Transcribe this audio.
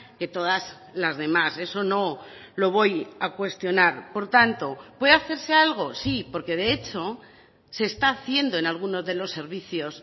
que todas las demás eso no lo voy a cuestionar por tanto puede hacerse algo sí porque de hecho se está haciendo en alguno de los servicios